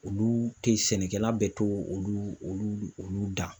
Olu tɛ sɛnɛkɛla bɛ to olu dan